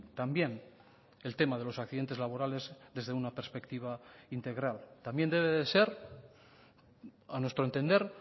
también el tema de los accidentes laborales desde una perspectiva integral también debe de ser a nuestro entender